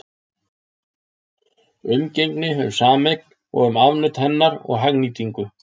Umgengni um sameign og um afnot hennar og hagnýtingu.